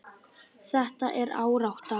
Þetta er árátta.